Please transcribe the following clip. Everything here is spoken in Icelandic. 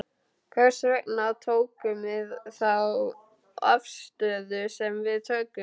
Hvers vegna tökum við þá afstöðu sem við tökum?